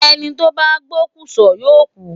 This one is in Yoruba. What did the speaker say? Ẹni tó bá pokùnso yóò kú.